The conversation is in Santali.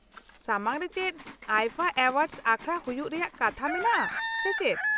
ᱥᱟᱢᱟᱝ ᱨᱮ ᱪᱮᱫ ᱟᱭᱯᱷᱟ ᱮᱣᱟᱨᱰᱥ ᱟᱠᱷᱲᱟ ᱦᱩᱭᱩᱜ ᱨᱮᱭᱟᱜ ᱠᱟᱛᱷᱟ ᱢᱮᱱᱟᱜᱼᱟ ᱥᱮ ᱪᱮᱫ?